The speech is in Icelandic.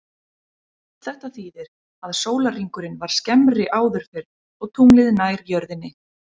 Þetta þýðir að sólarhringurinn var skemmri áður fyrr og tunglið nær jörðinni.